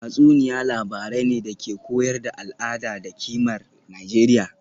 Tatsuniya labarai ne da ke koyar da al’ada da kimar Nijeriya